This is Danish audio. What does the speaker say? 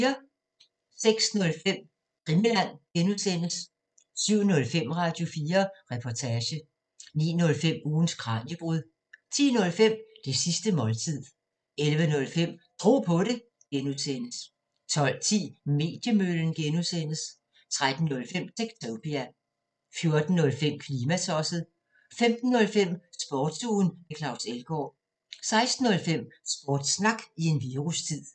06:05: Krimiland (G) 07:05: Radio4 Reportage 09:05: Ugens Kraniebrud 10:05: Det sidste måltid 11:05: Tro på det (G) 12:10: Mediemøllen (G) 13:05: Techtopia 14:05: Klimatosset 15:05: Sportsugen med Claus Elgaard 16:05: Sportssnak i en virustid